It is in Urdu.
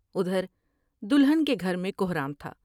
ادھر دلہن کے گھر میں کہرام تھا ۔